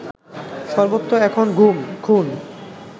সর্বত্র এখন গুম, খুন